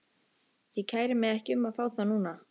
Ég kæri mig ekki um að fá þá núna.